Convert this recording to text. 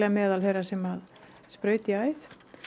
meðal þeirra sem sprauta í æð